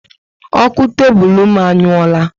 Oku tebulu m anyuora